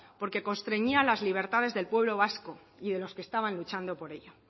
porque constreñía las libertades del pueblo vasco y de los que estaban luchando por ello